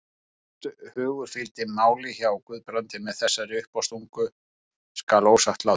Hvort hugur fylgdi máli hjá Guðbrandi með þessari uppástungu skal ósagt látið.